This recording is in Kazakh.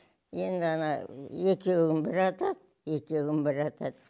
енді ана екеуін бір атады екеуін бір атады